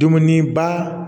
Dumuniba